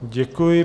Děkuji.